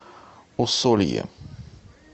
усолье